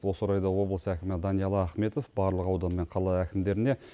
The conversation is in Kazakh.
осы орайда облыс әкімі даниал ахметов барлық аудан мен қала әкімдеріне